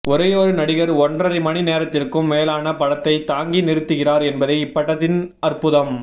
ஒரேயொரு நடிகர் ஒன்றரை மணி நேரத்திற்கும் மேலான படத்தைத் தாங்கி நிறுத்துகிறார் என்பதே இப்படத்தின் அற்புதம்